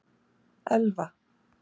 Elva